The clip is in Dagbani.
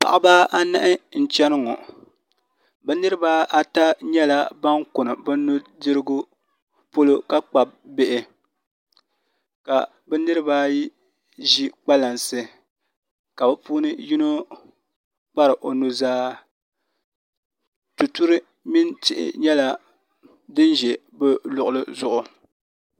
Paɣaba anahi n chɛni ŋo bi niraba ata nyɛla ban kuni bi nudirigu poli ka kpabi bihi ka bi niraba ayi ʒi kpalansi ka bi puuni yino kpari o nuzaa tuturi mini tihi nyɛla din ʒi o luɣuli zuɣu